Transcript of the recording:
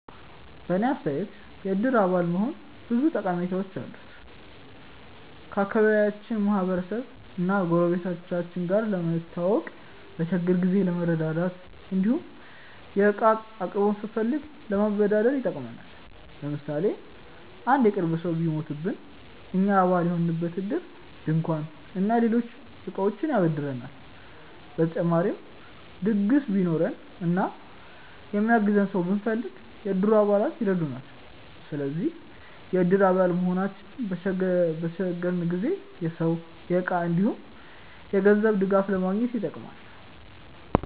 በእኔ አስተያየት የእድር አባል መሆን ብዙ ጠቀሜታዎች አሉት። ከአካባቢያችን ማህበረሰብ እና ጎረቤቶቻችን ጋር ለመተዋወቅ፣ በችግር ጊዜ ለመረዳዳት እንዲሁም የእቃ አቅርቦት ስንፈልግ ለመበደር ይጠቅማል። ለምሳሌ አንድ የቅርብ ሰው ቢሞትብን እኛ አባል የሆንበት እድር ድንኳን እና ሌሎች እቃዎችን ያበድረናል። በተጨማሪም ድግስ ቢኖረን እና የሚያግዘን ሰው ብንፈልግ፣ የእድሩ አባላት ይረዱናል። ስለዚህ የእድር አባል መሆናችን በተቸገረን ጊዜ የሰው፣ የእቃ እንዲሁም የገንዘብ ድጋፍ ለማግኘት ይጠቅማል።